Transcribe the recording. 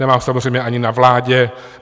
Nemá ho samozřejmě ani na vládě.